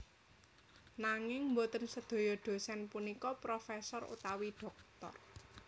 Nanging boten sedaya dhosèn punika profesor utawi dhoktor